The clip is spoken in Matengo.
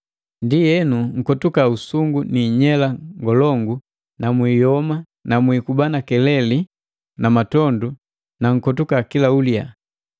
Ndienu nkotuka usungu ni inyela ngolongu na mwiiyoma na mwiikuba na keleli na matondu na nkotuka kila uliya!